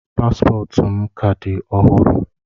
Paspọtụ m ka dị ọhụrụ.